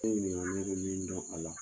E ye ɲininga ne be min dɔn a la